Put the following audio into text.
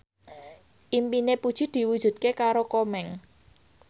impine Puji diwujudke karo Komeng